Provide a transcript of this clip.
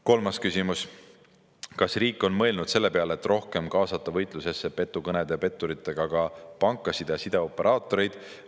Kolmas küsimus: "Kas riik on mõelnud selle peale, et rohkem kaasata võitlusesse petukõnede ja petturitega ka pankasid ja sideoperaatoreid?